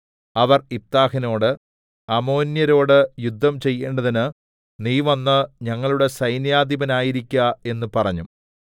അവർ യിഫ്താഹിനോട് അമ്മോന്യരോട് യുദ്ധം ചെയ്യേണ്ടതിന് നീ വന്ന് ഞങ്ങളുടെ സൈന്യാധിപനായിരിക്ക എന്ന് പറഞ്ഞു